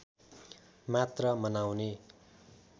मात्र मनाउने